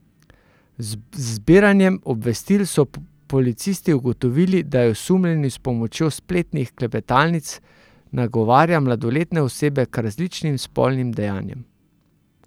Z zbiranjem obvestil so policisti ugotovili, da je osumljeni s pomočjo spletnih klepetalnic nagovarja mladoletne osebe k različnim spolnim dejanjem.